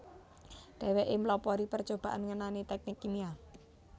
Dheweke mlopori percobaan ngenani teknik kimia